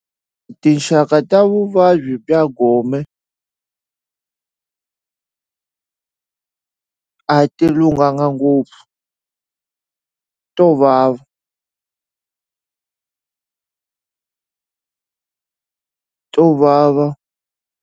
Tinxaka ta vuvabyi bya gome pause] a ti lunghanga ngopfu to vava to vava.